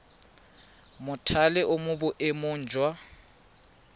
mothale o mo boemong jwa